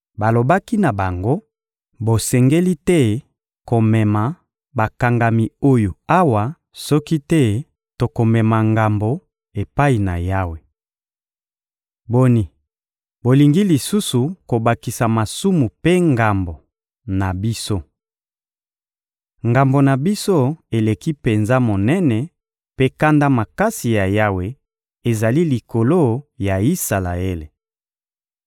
Balobaki na bango: «Bosengeli te komema bakangami oyo awa, soki te tokomema ngambo epai na Yawe. Boni, bolingi lisusu kobakisa masumu mpe ngambo na biso! Ngambo na biso eleki penza monene, mpe kanda makasi ya Yawe ezali likolo ya Isalaele.»